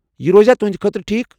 یہِ روزِیٚا تۄہندِ خٲطرٕ ٹھیک؟